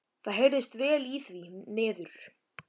Það heyrðist vel í því niður.